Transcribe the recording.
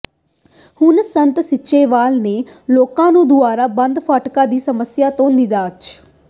ਹੁਣ ਸੰਤ ਸੀਚੇਵਾਲ ਨੇ ਲੋਕਾਂ ਨੂੰ ਦੁਆਈ ਬੰਦ ਫਾਟਕਾਂ ਦੀ ਸਮੱਸਿਆ ਤੋਂ ਨਿਜ਼ਾਤ